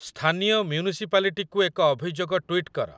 ସ୍ଥାନୀୟ ମ୍ଯୁନିସିପାଲିଟିକୁ ଏକ ଅଭିଯୋଗ ଟୁଇଟ କର।